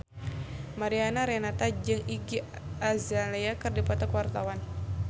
Mariana Renata jeung Iggy Azalea keur dipoto ku wartawan